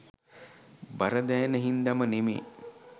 බර දැනෙන හින්දම නෙමේ.